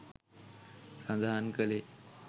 සඳහන් කළේ